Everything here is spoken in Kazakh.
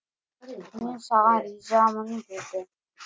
мен саған ризамын деді